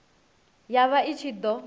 ya vha i ṱshi ḓo